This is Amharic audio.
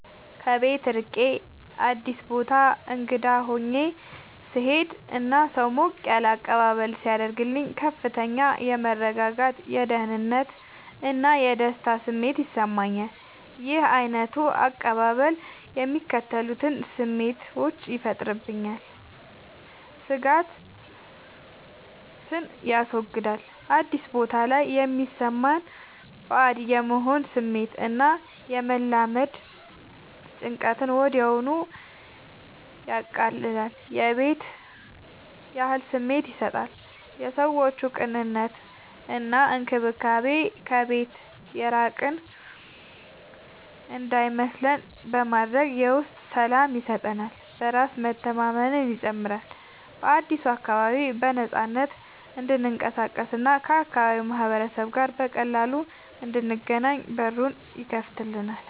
ከቤት ርቄ አዲስ ቦታ እንግዳ ሆኜ ስሄድ እና ሰው ሞቅ ያለ አቀባበል ሲያደርግልኝ ከፍተኛ የመረጋጋት፣ የደህንነት እና የደስታ ስሜት ይሰማኛል። ይህ ዓይነቱ አቀባበል የሚከተሉትን ስሜቶች ይፈጥራል፦ ስጋትን ያስወግዳል፦ አዲስ ቦታ ላይ የሚሰማንን ባዕድ የመሆን ስሜት እና የመላመድ ጭንቀትን ወዲያውኑ ያቀልላል። የቤት ያህል ስሜት ይሰጣል፦ የሰዎቹ ቅንነት እና እንክብካቤ ከቤት የራቅን እንዳይመስለን በማድረግ የውስጥ ሰላም ይሰጠናል። በራስ መተማመንን ይጨምራል፦ በአዲሱ አካባቢ በነፃነት እንድንቀሳቀስ እና ከአካባቢው ማህበረሰብ ጋር በቀላሉ እንድንገናኝ በሩን ይከፍትልናል።